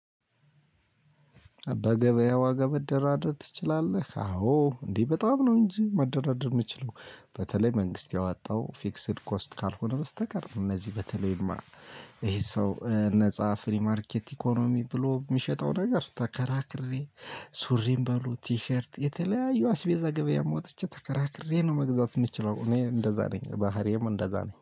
"በገበያ ዋጋ መደራደር ትችላለህ?" አዎ እንዴ በጣም ነው እንጂ መደራደር የምችለው። በተለይ መንግስት ያወጣው ፊክስድ ኮስት ካልሆነ በስተቀር እነዚህ በተለይማ ይሄ ሰው ነፃ ፍሪ ማርኬት ኢኮኖሚ ብሎ የሚሸጠው ነገር ተከራክሬ ሱሪም በሉ ቲሸርት የተለያየ አስቤዛ ገበያም ወጥቼ ተከራክሬ ነው መግዛት የምንችለው እኔ እንደዛ ነኝ ባህሪዬም እንደዛ ነኝ።